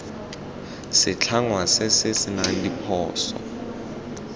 setlhangwa se se senang diphoso